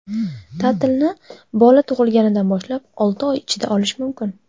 Ta’tilni bola tug‘ilganidan boshlab olti oy ichida olish mumkin.